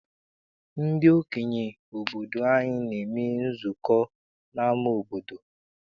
Ndị okenye obodo anyị na-eme nzukọ n'ama obodo.